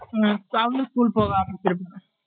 உம் இப்போ அவங்களும் school கு போக ஆரம்பிருச்சுருபாங்க